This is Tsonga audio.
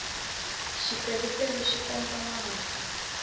xipelupelu xi pompa mati